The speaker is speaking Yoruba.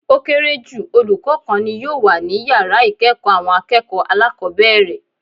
Ó kéré jù olùkó kan ni yòò wà ní yàrá ìkéèkó àwọn akéèkòó alákòbéèrè